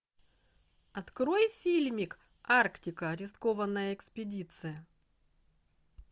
открой фильмик арктика рискованная экспедиция